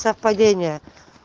совпадение